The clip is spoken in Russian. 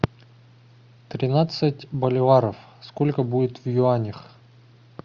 тринадцать боливаров сколько будет в юанях